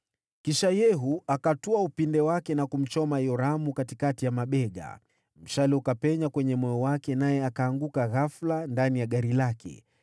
Kisha Yehu akatwaa upinde wake na kumchoma Yoramu katikati ya mabega. Mshale ukapenya kwenye moyo wake, naye akaanguka ghafula ndani ya gari lake.